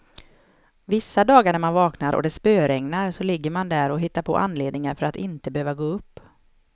Vissa dagar när man vaknar och det spöregnar, så ligger man där och hittar på anledningar för att inte behöva gå upp.